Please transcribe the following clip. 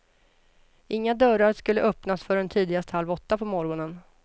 Inga dörrar skulle öppnas förrän tidigast halv åtta på morgonen.